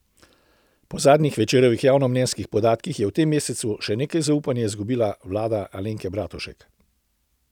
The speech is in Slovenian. Po zadnjih Večerovih javnomnenjskih podatkih je v tem mesecu še nekaj zaupanja izgubila vlada Alenka Bratušek.